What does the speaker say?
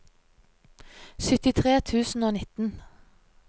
syttitre tusen og nitten